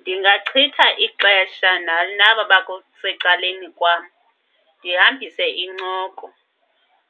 Ndingachitha ixesha naba secaleni kwam ndihambise incoko